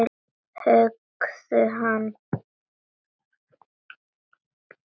Höggðu hann!